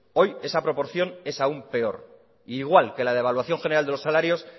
hoy esa proporción es aún peor e igual que la devaluación general de los salarios